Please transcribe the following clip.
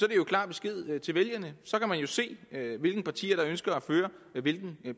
klar besked til vælgerne så kan man jo se hvilke partier der ønsker at føre hvilken